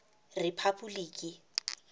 rephapoliki